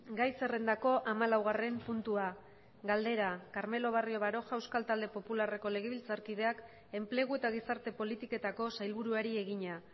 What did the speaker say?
gai zerrendako hamalaugarren puntua galdera carmelo barrio baroja euskal talde popularreko legebiltzarkideak enplegu eta gizarte politiketako sailburuari egina